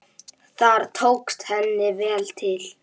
Þar tókst henni vel til.